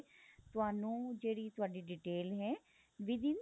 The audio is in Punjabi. ਤੁਹਾਨੂੰ ਜਿਹੜੀ ਤੁਹਾਡੀ detail ਹੈ with in